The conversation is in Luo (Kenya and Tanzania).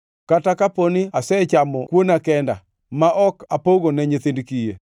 kata kapo ni asechamo kuona kenda, ma ok apoge ne nyithind kiye,